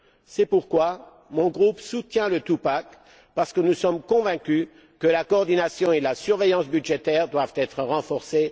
C'est pourquoi mon groupe soutient le two pack, parce que nous sommes convaincus que la coordination et la surveillance budgétaires doivent être renforcées.